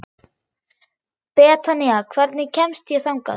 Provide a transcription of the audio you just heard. Betanía, hvernig kemst ég þangað?